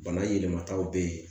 Bana yɛlɛmataw bɛ yen